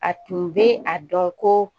A tun bɛ a dɔn ko